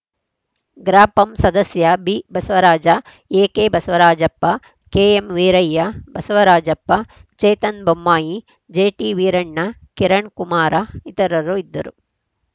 ಗ್ರಾಪಂ ಸದಸ್ಯ B Basavaraja A K Basavarajappa KM Veerayya Basavarajappa Chetan Bommai J ಟಿವೀರಣ್ಣ Kiran Kumar ಇತರರು ಇದ್ದರು